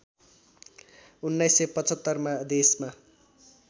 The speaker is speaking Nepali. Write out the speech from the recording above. १९७५ मा देशमा